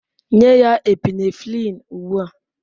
Nye ya Epinephrine ugbu a!